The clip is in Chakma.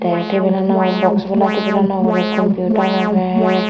tey tebilano box bola tebilano ugurey compiutar agey.